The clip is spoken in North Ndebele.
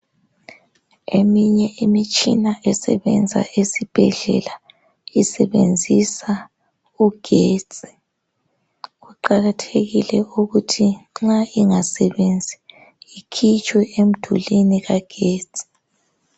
Eminye imitshina esebenza esibhedlela isebenzisa ugetsi kuqakathekile ukuthi nxa ingasebenzi ikhitshwe emdulwini kagetsi.